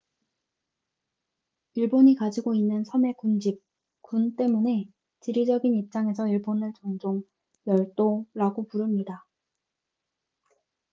"일본이 가지고 있는 섬의 군집/군 때문에 지리적인 입장에서 일본을 종종 "열도""라고 부릅니다.